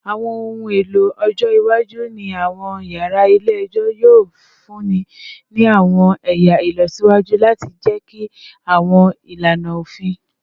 Awọn ohun elo ọjọ iwaju ni awọn yara ile-ẹjọ yoo funni ni awọn ẹya ilọsiwaju lati jẹki awọn ilana ofin